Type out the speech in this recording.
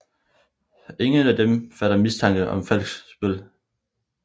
Ingen af dem fatter mistanke om falsk spil